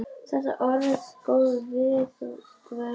Þetta er orðin góð viðdvöl að sinni.